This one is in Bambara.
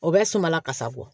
O bɛ sumala kasa bɔ